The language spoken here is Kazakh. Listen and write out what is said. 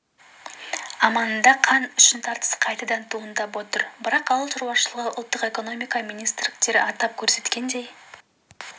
аманында қант үшін тартыс қайтадан туындап отыр бірақ ауыл шаруашылығы ұлттық экономика министрліктері атап көрсеткендей